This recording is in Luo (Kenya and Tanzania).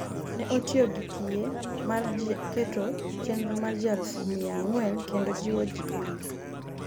ne otiyo gi tiye mar keto chenro mar ji aluf miya ang'wen kendo jiwo ji e wi